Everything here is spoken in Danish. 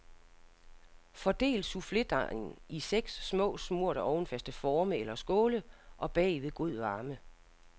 Fordel souffledejen i seks små, smurte, ovnfaste forme eller skåle og bag ved god varme.